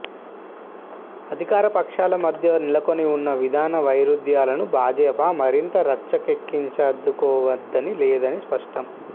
అధికారపక్షాల మధ్య నెలకొని ఉన్న విధాన వైరుధ్యాలను భాజపా మరింత రచ్చకెక్కించదలచుకోవడం లేదన్నది స్పష్టం